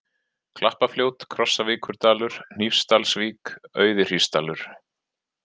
Klappafljót, Krossavíkurdalur, Hnífsdalsvík, Auðihrísdalur